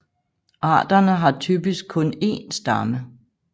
Arterne har typisk kun én stamme